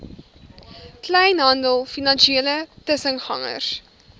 kleinhandel finansiële tussengangers